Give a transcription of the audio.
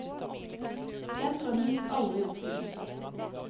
Den drømmen gikk aldri i oppfyllelse.